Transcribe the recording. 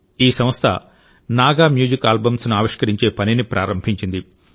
ఈ సంస్థ Naga music albums ఆవిష్కరించే పనిని ప్రారంభించింది